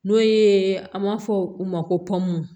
N'o ye an b'a fɔ u ma ko pɔnmu